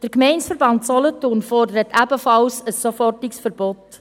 Der Gemeindeverband Solothurn fordert ebenfalls ein sofortiges Verbot.